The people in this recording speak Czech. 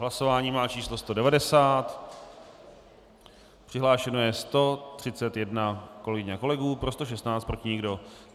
Hlasování má číslo 190, přihlášeno je 131 kolegyň a kolegů, pro 116, proti nikdo.